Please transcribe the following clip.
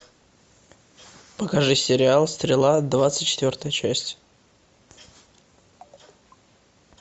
покажи сериал стрела двадцать четвертая часть